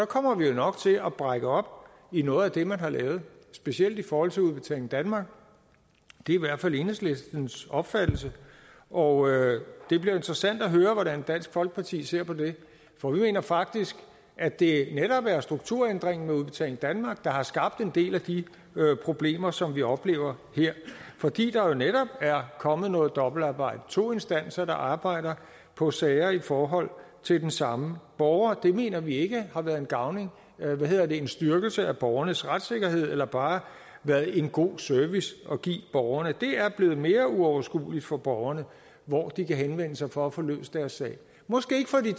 kommer vi jo nok til at brække op i noget af det man har lavet specielt i forhold til udbetaling danmark det er i hvert fald enhedslistens opfattelse og det bliver interessant at høre hvordan dansk folkeparti ser på det for vi mener faktisk at det netop er strukturændringen med udbetaling danmark der har skabt en del af de problemer som vi oplever her fordi der jo netop er kommet noget dobbeltarbejde to instanser der arbejder på sager i forhold til den samme borger det mener vi ikke har været en styrkelse af borgernes retssikkerhed eller bare været en god service at give borgerne det er blevet mere uoverskueligt for borgerne hvor de kan henvende sig for at få løst deres sag måske ikke for de